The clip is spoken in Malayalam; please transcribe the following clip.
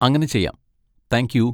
അങ്ങനെ ചെയ്യാം, താങ്ക് യു.